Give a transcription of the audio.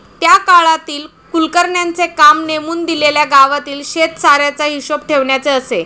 त्या काळातील कुलकर्ण्यांचे काम नेमून दिलेल्या गावातील शेतसाऱ्याचा हिशोब ठेवण्याचे असे.